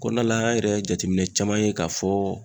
Kɔnɔna la an yɛrɛ ye jateminɛ caman ye k'a fɔ